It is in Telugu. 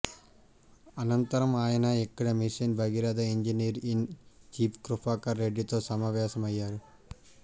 అనంతరం ఆయన ఇక్కడ mission Bhagiratha engineer in chief Kripakar రెడ్డితో సమావేశమయ్యారు